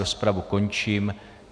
Rozpravu končím.